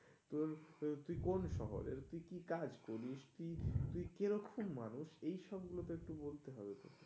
তোর আহ তুই কোন শহরের? তুই কি কাজ করিস? তুই কেরখম মানুষ? এইসবগুলো তো একটু বলতে হবে তো.